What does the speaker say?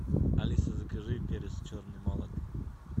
алиса закажи перец черный молотый